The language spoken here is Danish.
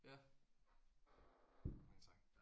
Ja mange tak